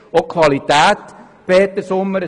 Das betrifft auch die Qualität, Grossrat Sommer.